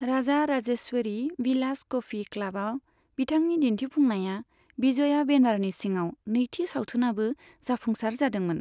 राजा राजेश्वरी विलास कफि क्लाबआव बिथांनि दिन्थिफुंनाया बिजया बेनारनि सिङाव नैथि सावथुनआबो जाफुंसार जादोंमोन।